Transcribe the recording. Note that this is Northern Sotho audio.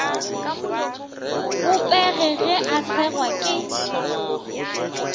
bopege ge a segwa ke